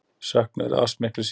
Söknuður eða ást miklu síður.